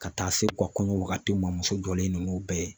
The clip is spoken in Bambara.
Ka taa se u ka kɔɲɔ wagatiw ma muso jɔlen ninnu bɛɛ ye